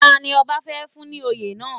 Tani ọba fẹ́ fún ní oyè náà?